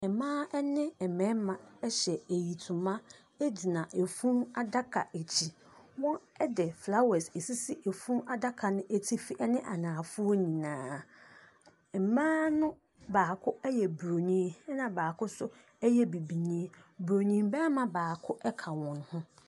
Mmaa ɛne mmɛrima ɛhyɛ ntoma egyina efunu adaka akyi. Wɔn ɛde flawɛs esisi efunu adaka no atifi ɛne anaafoɔ nyinaa. Mmaa no baako ɛyɛ boroni ɛna baako nso ɛyɛ bibinii. Boroni bɛrima baako ɛka wɔn ho.